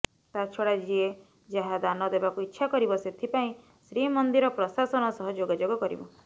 ତା ଛଡ଼ା ଯିଏ ଯାହା ଦାନ ଦେବାକୁ ଇଚ୍ଛା କରିବ ସେଥିପାଇଁ ଶ୍ରୀମନ୍ଦିର ପ୍ରଶାସନ ସହ ଯୋଗାଯୋଗ କରିବ